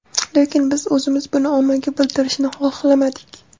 Lekin, biz o‘zimiz buni ommaga bildirishni xohlamadik.